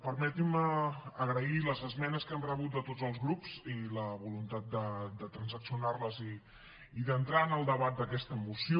permetin me agrair les esmenes que hem rebut de tots els grups i la voluntat de transaccionar les i d’entrar en el debat d’aquesta moció